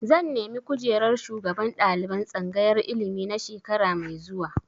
Zan nemi kujerar shugaban ɗaliban tsangayar ilimi na shekara mai zuwa.